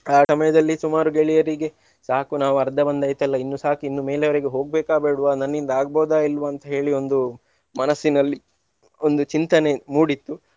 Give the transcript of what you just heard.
ಆ ಸಮಯದಲ್ಲಿ ಸುಮಾರು ಗೆಳೆಯರಿಗೆ ಸಾಕು ನಾವು ಅರ್ಧ ಬಂದಾಯ್ತಲ್ಲ ಇನ್ನು ಸಾಕು ಇನ್ನು ಮೇಲೆಯವರೆಗೆ ಹೋಗ್ಬೇಕಾ ಬೇಡ್ವಾ ನನ್ನಿಂದ ಆಗ್ಬಹುದಾ ಇಲ್ವಾ ಅಂತೇಳಿ ಒಂದು ಮನಸ್ಸಿನಲ್ಲಿ ಒಂದು ಚಿಂತನೆ ಮೂಡಿತ್ತು.